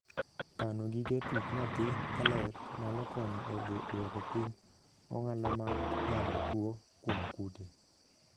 Kano gige tuk nyathi ka ler nyalo konyo e duoko piny ong'ala mar gamo tuo kuom kute.